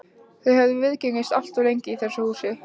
Þau hafa viðgengist allt of lengi í þessu húsi.